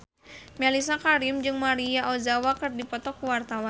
Mellisa Karim jeung Maria Ozawa keur dipoto ku wartawan